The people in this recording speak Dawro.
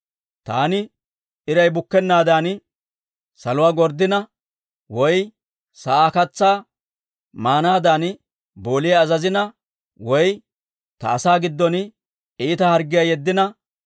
Taani iray bukkennaadan saluwaa gorddina, woy sa'aa katsaa maanaadan booliyaa azazina, woy ta asaa giddon iita harggiyaa yeddina,